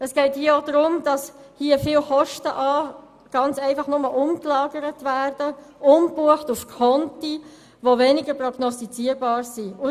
Es geht hier auch darum, dass viele Kosten einfach nur umgelagert, umgebucht werden auf Konten, die weniger prognostizierbar sind.